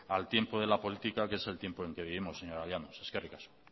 al tiempo de la política que es el tiempo en que vivimos señora llanos eskerrik asko